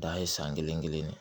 Dan ye san kelen kelen